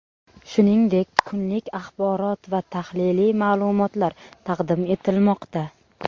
Shuningdek, kunlik axborot va tahliliy ma’lumotlar taqdim etilmoqda.